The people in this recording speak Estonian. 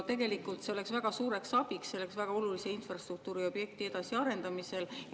Tegelikult see oleks väga suureks abiks väga olulise infrastruktuuriobjekti edasiarendamisel.